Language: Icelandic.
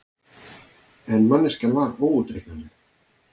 En manneskjan var óútreiknanleg.